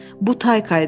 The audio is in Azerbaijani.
Bu Tayka idi.